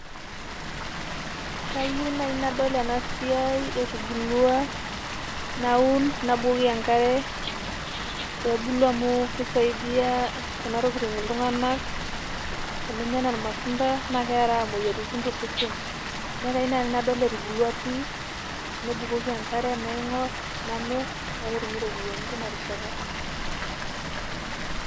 Kayieu naaji nadol ena siai etubulua naun nabukoki enkare. Pee ebulu amu keisaidia kuna tokitin iltung'anak eninyia enaa ilmatunda naa keeraa moyiaritin to sesen. Niaku kayieu naaji nadol etubulua pii nabukoki enkare, naing'or, namirr, paa ketumi irropiyiani teina rishata.